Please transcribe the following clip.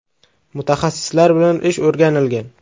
Mutaxassislar bilan ish o‘rganilgan.